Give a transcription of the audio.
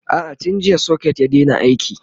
a'a tun jiya socket ya Daina aiki